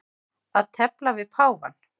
Að tefla við páfann